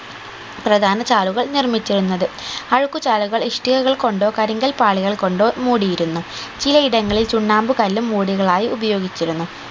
പ്രധാന ചാലുകൾ നിർമ്മിച്ചിരുന്നത് അഴുക്കുചാലുകൾ ഇഷ്ടികകൾ കൊണ്ടോ കരിങ്കൽ പാളികൾ കൊണ്ടോ മൂടിയിരുന്നു ചില ഇടങ്ങളിൽ ചുണ്ണാമ്പു കല്ലും മൂടികളായി ഉപയോഗിച്ചിരുന്നു